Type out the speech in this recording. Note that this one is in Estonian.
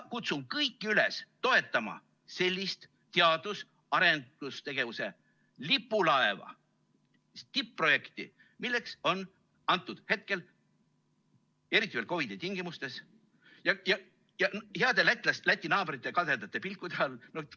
Kutsun kõiki üles toetama sellist teadus‑ ja arendustegevuse lipulaeva, tipp-projekti, milleks see hetkel on, eriti veel COVID‑i tingimustes ja heade lätlaste, läti naabrite kadedate pilkude all.